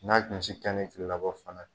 N'a kunsi kɛ ni kile labɔ fana ye